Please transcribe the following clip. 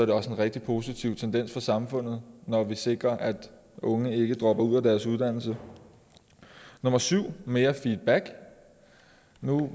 det også en rigtig positiv tendens for samfundet når vi sikrer at unge ikke dropper ud af deres uddannelse nummer syv mere feedback nu